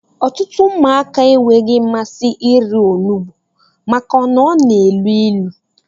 Ọtụtụ ụmụaka enweghị mmasị irí onugbu maka na ọ na-élú ịlụ.